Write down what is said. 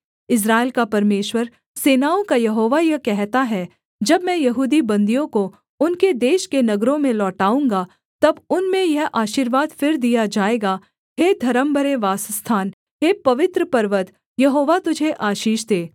इस्राएल का परमेश्वर सेनाओं का यहोवा यह कहता है जब मैं यहूदी बन्दियों को उनके देश के नगरों में लौटाऊँगा तब उनमें यह आशीर्वाद फिर दिया जाएगाः हे धर्मभरे वासस्थान हे पवित्र पर्वत यहोवा तुझे आशीष दे